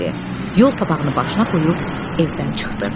Yol papağını başına qoyub evdən çıxdı.